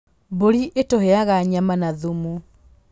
Mbũri ĩtũheaga nyama na thumu.